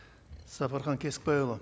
сапархан кесікбайұлы